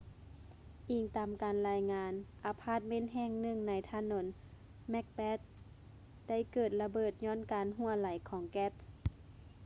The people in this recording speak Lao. ອີງຕາມການລາຍງານ ອາພາດເມັນແຫ່ງໜຶ່ງໃນຖະໜົນ macbeth ໄດ້ເກີດລະເບີດຍ້ອນການຮົ່ວໄຫຼຂອງແກັສ